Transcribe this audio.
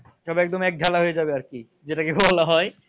সব একদম একঝালা হয় যাবে আরকি, যেটাকে বলা হয়।